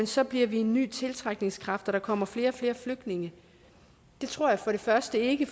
så bliver vi en ny tiltrækningskraft og der kommer flere og flere flygtninge det tror jeg for det første ikke